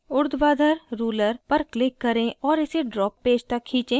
ऊर्ध्वाधर ruler पर click करें और इसे draw पेज तक खींचें